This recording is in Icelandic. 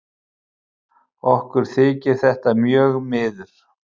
Okkur þykir þetta mjög miður.